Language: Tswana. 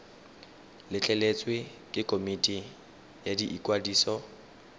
letleletswe ke komiti ya ikwadiso